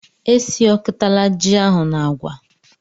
Esiọkọtala ji ahụ na agwa!